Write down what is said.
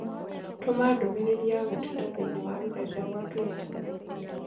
Tũma ndũmĩrĩri ya gũteta thĩinĩ wa rũrenda rũa tũita